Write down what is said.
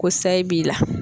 Ko sayi b'i la